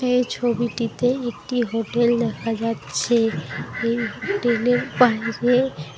এই ছবিটিতে একটি হোটেল দেখা যাচ্ছে । এই হোটেলের বাইরে --